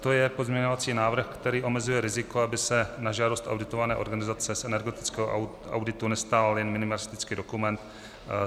To je pozměňovací návrh, který omezuje riziko, aby se na žádost auditované organizace z energetického auditu nestal jen minimalistický dokument.